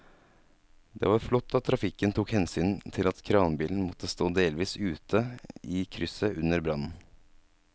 Det var flott at trafikken tok hensyn til at kranbilen måtte stå delvis ute i krysset under brannen.